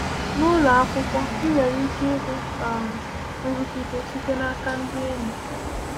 N’ụlọ akwụkwọ, ị nwere ike ihu um nrụgide site n’aka ndị enyi.